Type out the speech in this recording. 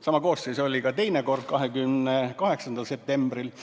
Sama koosseis oli ka teine kord, 28. septembril.